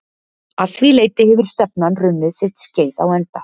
Að því leyti hefur stefnan runnið sitt skeið á enda.